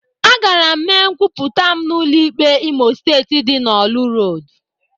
Agara m mee nkwupụta m n'ụlọ ikpe Imo Steeti dị n'orlu Road.